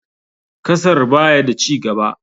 Kasar baya da cigaba.